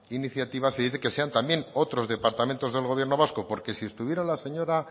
iniciativa se dice que sean también otros departamentos del gobierno vasco porque si estuviera la señora